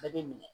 Bɛɛ b'i minɛ